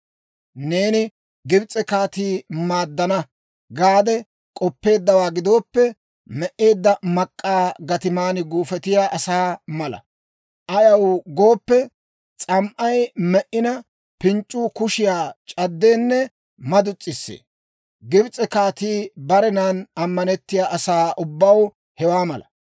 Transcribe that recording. Neeni Gibs'e kaatii maaddana gaade k'oppeeddawaa gidooppe, me"eedda mak'k'aa gatiman guufetiyaa asaa mala. Ayaw gooppe, s'am"ay me"ina, pinc'c'uu kushiyaa c'addeenne madus's'isee. Gibs'e kaatii barenan ammanettiyaa asaa ubbaw hewaa mala.› »